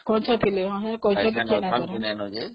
ହଁ ଗଛ ଥିଲା ସେତେବେଲେ